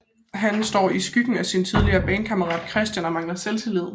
Han står i skyggen af sin tidligere bandkammerat Christian og mangler selvtillid